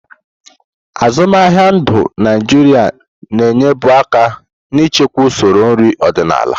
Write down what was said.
Azụmaahịa ndu Naịjirịa na-enyebu aka n'ichekwa usoro nri ọdịnala.